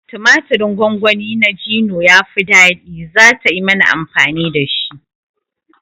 Tumaturin gongoni na Gino yafi ɗadi, zata yi mana amfani dashi